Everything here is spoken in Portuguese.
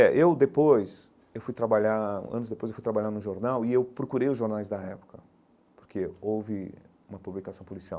É, eu depois, eu fui trabalhar, anos depois eu fui trabalhar no jornal e eu procurei os jornais da época, porque houve uma publicação policial.